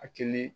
Akilina